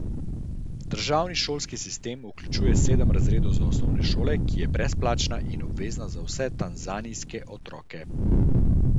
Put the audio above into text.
Državni šolski sistem vključuje sedem razredov osnovne šole, ki je brezplačna in obvezna za vse tanzanijske otroke.